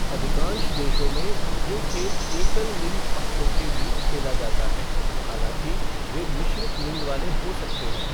अधिकांश देशों में, ये खेल एकल लिंग पक्षों के बीच खेला जाता है, हालाँकि वे मिश्रित लिंग वाले हो सकते हैं।